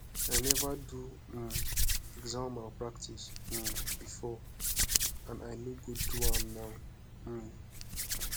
i never do um exam malpractice um before and i no go do am now um